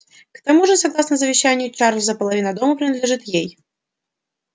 к тому же согласно завещанию чарлза половина дома принадлежит ей